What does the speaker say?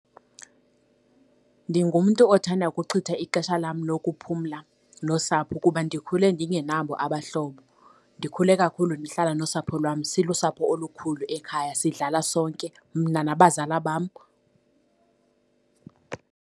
Ndingumntu othanda ukuchitha ixesha lam lokuphumla nosapho kuba ndikhule ndingenabo abahlobo. Ndikhule kakhulu ndihlala nosapho lwam, silusapho olukhulu ekhaya, sidlala sonke mna nabazala bam.